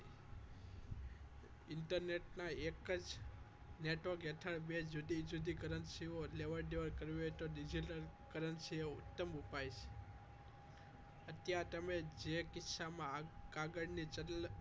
Internet ના એક જ network હેઠળ બે જુદી-જુદી currency લેવડ દેવડ કરવી હોય તો digital currency ઉત્તમ ઉપાય છે અત્યાર તમે જે ખિસ્સામાં કાગળની જરૂરિયાત